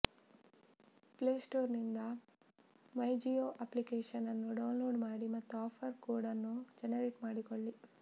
play ಸ್ಟೋರ್ನಿಂದ MyJio application ಅನ್ನು download ಮಾಡಿ ಮತ್ತು ಆಫರ್ ಕೋಡ್ ಅನ್ನು ಜನರೇಟ್ ಮಾಡಿಕೊಳ್ಳಿ